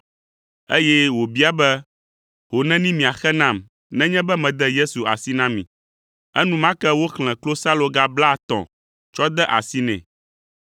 eye wòbia be, “Ho neni miaxe nam nenye be mede Yesu asi na mi?” Enumake woxlẽ klosaloga blaetɔ̃ tsɔ de asi nɛ.